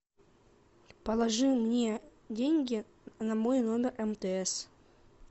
положи мне деньги на мой номер мтс